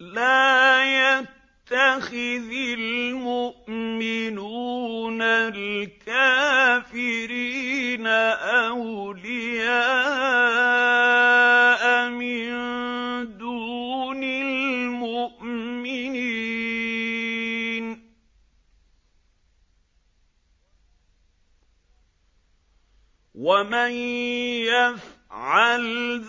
لَّا يَتَّخِذِ الْمُؤْمِنُونَ الْكَافِرِينَ أَوْلِيَاءَ مِن دُونِ الْمُؤْمِنِينَ ۖ وَمَن يَفْعَلْ